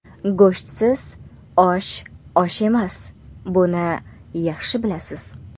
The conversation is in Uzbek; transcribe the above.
Go‘shtsiz osh osh emas, buni yaxshi bilasiz.